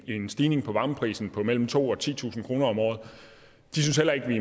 en stigning i varmeprisen på mellem to tusind og titusind kroner om året de synes heller ikke at vi